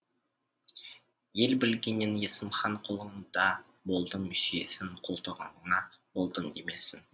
ел білгеннен есім хан қолыңда болдым сүйесін қолтығыңа болдым демесін